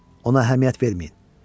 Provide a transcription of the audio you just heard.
Ona əhəmiyyət verməyin.